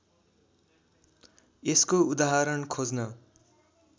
यसको उदाहरण खोज्न